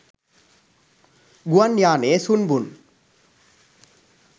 ගුවන් යානයේ සුන්බුන්